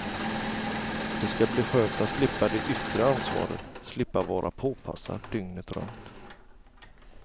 Det ska bli skönt att slippa det yttre ansvaret, slippa vara påpassad dygnet runt.